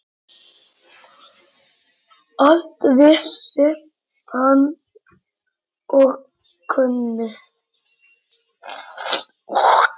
Allt vissi hann og kunni.